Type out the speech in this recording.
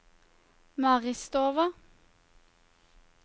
Maristova